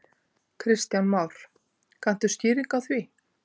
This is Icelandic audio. Kristján Már: Kanntu skýringu á því?